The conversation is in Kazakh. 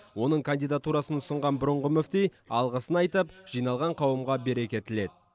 оның кандидатурасын ұсынған бұрынғы мүфти алғысын айтып жиналған қауымға береке тіледі